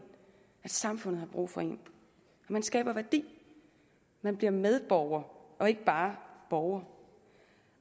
at samfundet har brug for en man skaber værdi man bliver medborger og ikke bare borger